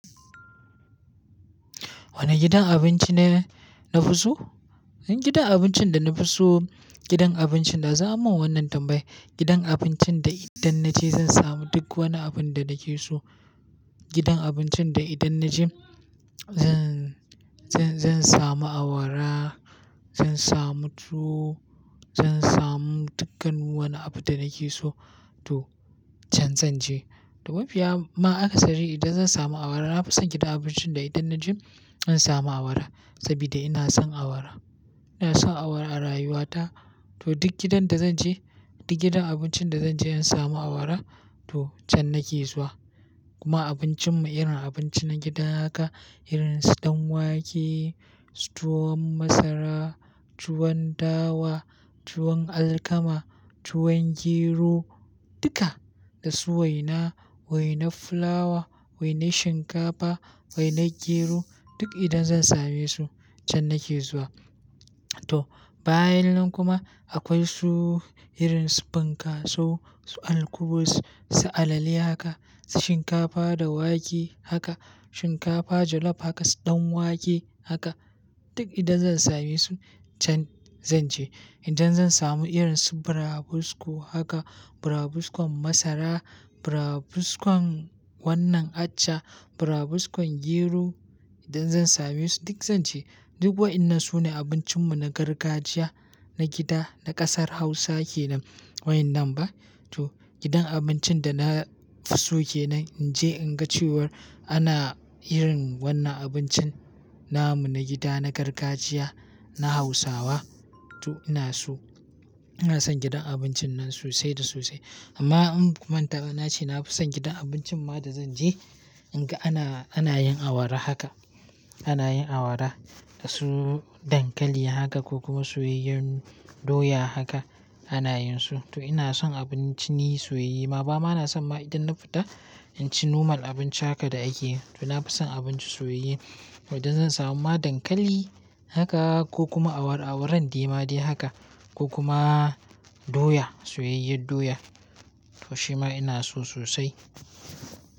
Wane gidan abinci ne na fi so? Gidan abincin da na fi so, gidan abincin da zu ammun wannan tambayar, gidan abincin da idan na je zan samu duk wani abin da nake so. Gidan abincin da idan na je zan, zan, zan samu awara, zan samu tuwo, zan samu dukkan wani abu da nake so to can zan je. To mafiya ma akasari idan zan samu awara, na fi son gidan abincin da idan na je zan samu awara sabida ina son awara. Ina son awara a rayuwata to duk gidan da zan je, duk gidan abincin da zan je in samu awara to can nake zuwa. Kuma abincin mu irin abinci na gida haka, irin su ɗan wake, tuwon masara, tuwon dawa, tuwon alkama, tuwon gero duka da su waina, wainar fulawa, wainar shinkafa, wainar gero duk idan zan same su can nake zuwa. To bayanan kuma akwai su irin su fankasu su alkubus, su alale haka, su shinkafa da wake haka, shinkafa jollof haka, ɗan wake haka duk idan zan same su can zan je. Idan zan samu irin su burabusko haka, burabuskon masara, burabuskon wannan acca, burabuskon gero idan zan same su duk zan ce. Duk wa'inan sune abincin mu na gargajiya na gida na ƙasar Hausa kenan wainnan ba. To gidan abincin da na fi so kenan in je in ga cewar ana yin wannan abincin namu na gida na gargajiya na Hausawa to ina so. Ina son gidan abincin nan sosai da sosai. Amma in baku manta ba na ce na fi son gidan abincin ma da zan je in ga ana, ana yin awara haka, ana yin awara da su dankali haka ko kuma soyayyen doya haka ana yin su. To ina son abinci ni soyye. Ma ba ma na son ma idan na fita in ci nomal abinci haka da ake yi. To na fi son abinci soyayye. Idan zan samu ma dankali haka ko kuma awara awaran dema de haka ko kuma doya, soyayyar doya to shi ma ina so sosai.